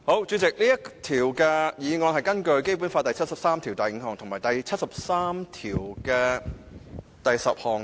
主席，這項議案是根據《基本法》第七十三條第五項及第七十三條第十項動議。